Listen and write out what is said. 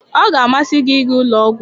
Ọ ga-amasị gị ịga ụlọ ọgwụ